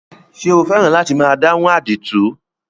Ṣé o fẹ́ràn láti máa dáhùn àdìtú?